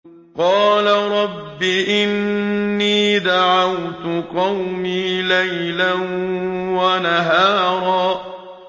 قَالَ رَبِّ إِنِّي دَعَوْتُ قَوْمِي لَيْلًا وَنَهَارًا